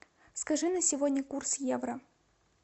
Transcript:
скажи на сегодня курс евро